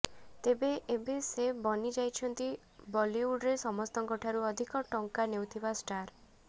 ତେବେ ଏବେ ସେ ବନି ଯାଇଛନ୍ତି ବଲିଉଡ୍ରେ ସମସ୍ତଙ୍କ ଠାରୁ ଅଧିକ ଟଙ୍କା ନେଉଥିବା ଷ୍ଟାର